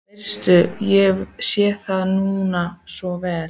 Veistu, ég sé það núna svo vel.